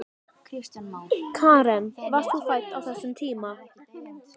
Karen: Varst þú fædd á þessum tíma?